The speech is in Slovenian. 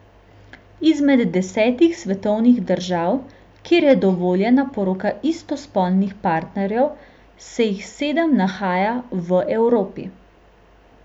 Izmed desetih svetovnih držav, kjer je dovoljena poroka istospolnih partnerjev, se jih sedem nahaja v Evropi.